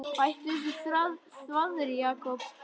Hættu þessu þvaðri, Jakob.